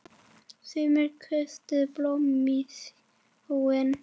Sumir köstuðu blómum í sjóinn.